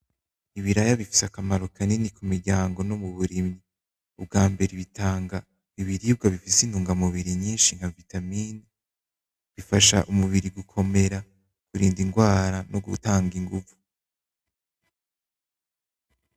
Ibiraya bifise akamaro kanini mu miryango no muburimyi, ubwambere bitanga ibirirwa bifise intugamubiri nyinshi nka vitamine. Bifasha umubiri gukomera, kurinda ingwara no gutanga inguvu.